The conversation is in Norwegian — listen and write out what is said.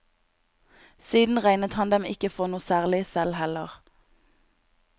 Siden regnet han dem ikke for noe særlig selv heller.